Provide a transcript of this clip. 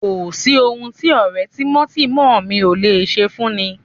Kò sí ohun tí ọ̀rẹ́ tímọ́tímọ́ mi ò lè ṣe fúnni